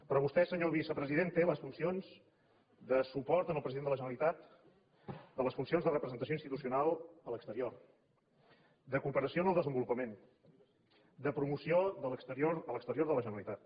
però vostè senyor vicepresident té les funcions de suport al president de la generalitat de les funcions de representació institucional a l’exterior de cooperació en el desenvolupament de promoció a l’exterior de la generalitat